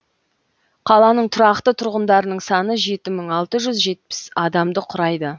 қаланың тұрақты тұрғындарының саны жеті мың алты жүз жетпіс адамды құрайды